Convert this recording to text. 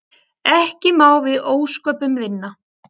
Ekki má við ósköpunum vinna.